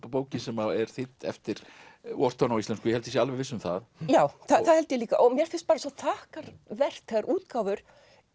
bókin sem er þýdd eftir Wharton á íslensku ég held ég sé alveg viss um það já það held ég líka og mér finnst bara svo þakkarvert þegar útgáfur